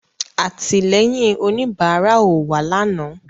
Àtìlẹ́yìn òníbárà ò wá lànàá